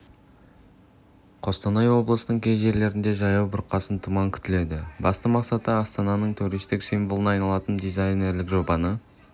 қостанай облысының кей жерлерінде жаяу бұрқасын тұман күтіледі басты мақсаты астананың туристік символына айналатын дизайнерлік жобаны